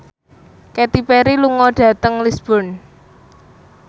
Katy Perry lunga dhateng Lisburn